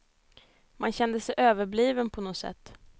Man kände sig överbliven på något sätt.